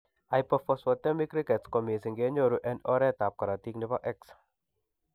Hypophosphatemic rickets ko mising kenyoru en oret ab korotik nebo X